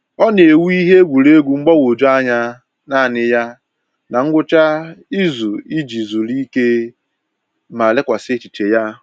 Ọ na-ewu ihe egwuruegwu mgbagwoju anya naanị ya na ngwụcha izu iji zuru ike ma lekwasị echiche ya.